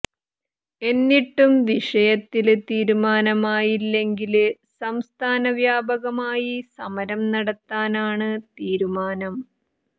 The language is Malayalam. എന്നിട്ടും വിഷയത്തില് തീരുമാനമായില്ലെങ്കില് സംസ്ഥാന വ്യാപകമായി സമരം നടത്താനാണ് തീരുമാനം